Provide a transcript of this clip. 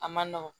A man nɔgɔn